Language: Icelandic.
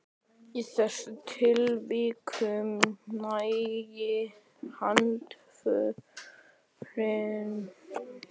Í þessum tilvikum nægir handhöfn hlutabréfsins með óslitinni framsalsröð.